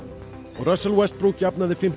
Russell Westbrook jafnaði fimmtíu